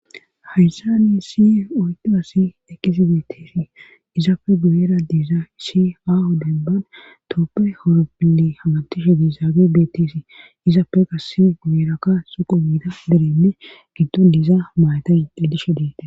Hayssa ni si oydasi eqqisi beetteesi izaapfe guyeera diiza isi hahu denban tooppe horoppinne hamantishe diizaage beetteesi izaafe qassi gu7eraka suqu miida derenne giddon diizaa mayatay edishe deite.